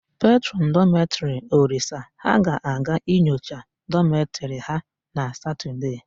Petrọn dọmetịrị Olisa ha ga-aga inyocha dọmetịrị ha na Satọdee.